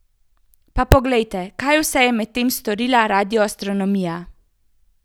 Pa poglejte, kaj vse je medtem storila radioastronomija!